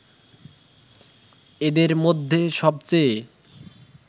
এদের মধ্যে সবচেয়ে